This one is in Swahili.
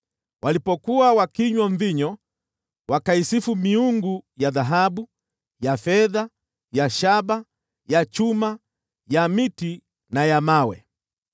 Walipokuwa wakinywa mvinyo, wakaisifu miungu ya dhahabu na fedha, ya shaba, chuma, miti na mawe.